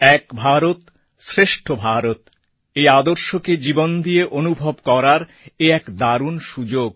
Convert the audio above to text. এক ভারত শ্রেষ্ঠ ভারত আদর্শকে জীবন দিয়ে অনুভব করার এ এক দারুণ সুযোগ